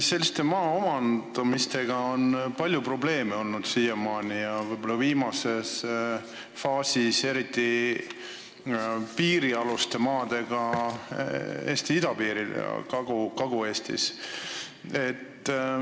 Selliste maa omandamistega on siiamaani olnud palju probleeme, viimases faasis võib-olla eriti piirialuste maadega Eesti idapiiril ja Kagu-Eestis.